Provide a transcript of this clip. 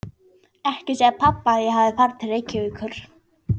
Ekki segja pabba að ég hafi farið til Reykjavíkur.